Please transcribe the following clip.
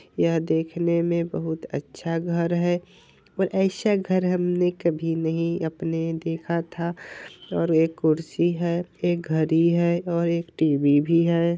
यह देखने में बहुत अच्छा घर है और ऐसा घर हमने कभी नहीं अपने देखा था | और एक कुर्सी है एक घड़ी है और एक टी.वी. भी है।